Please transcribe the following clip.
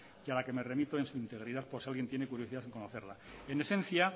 y a la que me remito en su integridad por si alguien tiene curiosidad en conocerla en esencia